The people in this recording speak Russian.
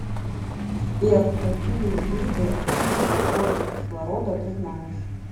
сбер какие виды активные формы кислорода ты знаешь